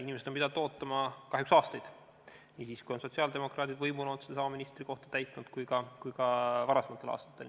Inimesed on pidanud ootama kahjuks aastaid – nii siis, kui sotsiaaldemokraadid on võimul olnud ja sedasama ministrikohta täitnud, kui ka varasematel aastatel.